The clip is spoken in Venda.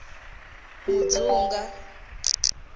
mudzunga